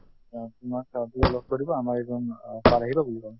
অ, তোমাক লগ কৰিব আমাৰ এজন অ sir আহিব বুলি কলে